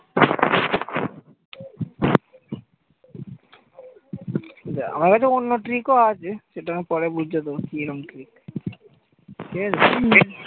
আমার একটা অন্য trick ও আছে সেটা আমি পরে বলছি কিরাম? ঠিকাছে?